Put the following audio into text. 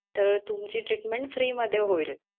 तर तुमची treatment free मध्ये होईल.